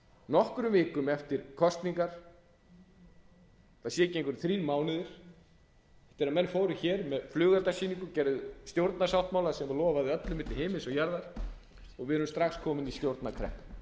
nokkrum vikum eftir kosningar ætli það séu ekki einhverjir þrír mánuðir þegar menn fóru með flugeldasýningu gerðu stjórnarsáttmála sem lofaði öllu milli himins og jarðar og við erum strax komin í stjórnarkreppu því